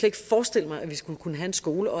ikke forestille mig at vi skulle kunne have en skole